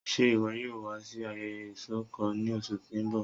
Ṣe iwọ yoo wa si ayẹyẹ isọkọ ni oṣu ti n bọ?